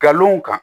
Kalon kan